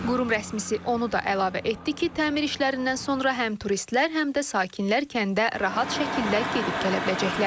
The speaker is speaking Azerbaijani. Qurum rəsmisi onu da əlavə etdi ki, təmir işlərindən sonra həm turistlər, həm də sakinlər kəndə rahat şəkildə gedib gələ biləcəklər.